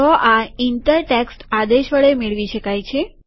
તો આ enter text આદેશ વડે મેળવી શકાય છે